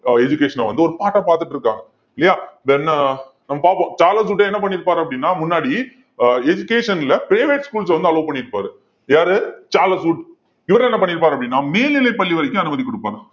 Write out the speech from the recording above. அஹ் education uh வந்து, ஒரு part ah பாத்துட்டு இருக்காங்க இல்லையா then நம்ம பார்ப்போம் சார்லஸ் வுட் என்ன பண்ணியிருப்பாரு அப்படின்னா முன்னாடி ஆஹ் education ல private schools அ வந்து allow பண்ணியிருப்பாரு யாரு சார்லஸ் வுட் இவர் என்ன பண்ணியிருப்பார் அப்படின்னா மேல்நிலைப் பள்ளி வரைக்கும் அனுமதி கொடுப்பாங்க